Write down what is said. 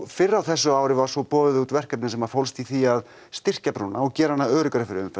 fyrr á þessu ári var boðið út verkefni sem fólst í því að styrkja brúna og gera hana öruggari fyrir umferð